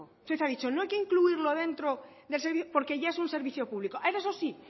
usted ha dicho no hay que incluirlo dentro del servicio porque ya es un servicio público eso si